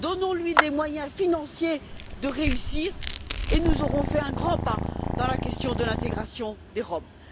Donnons lui les moyens financiers de réussir et nous aurons fait un grand pas dans la question de l'intégration des Roms.